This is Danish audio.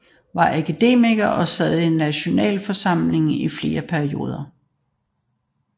Jaurès var akademiker og sad i nationalforsamlingen i flere perioder